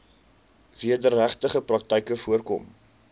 wederregtelike praktyke voorkom